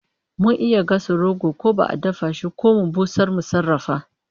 Mun iya gasa roko ko a dafa shi ko mu busar mu sarrafa